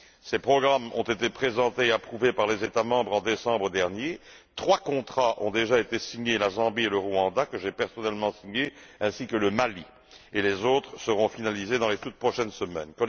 Ces programmes ont été présentés et approuvés par les États membres en décembre dernier. Trois contrats ont déjà été signés la Zambie et le Rwanda que j'ai personnellement signés, ainsi que le Mali, et les autres seront finalisés dans les toutes prochaines semaines.